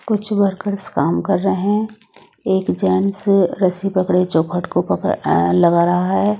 कुछ वर्कर्स काम कर रहे हैं। एक जेंस रस्सी पकड़े चौखट को पकड़ लगा रहा है।